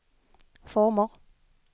former